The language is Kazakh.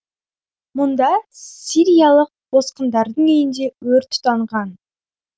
мұнда сириялық босқындардың үйінде өрт тұтанған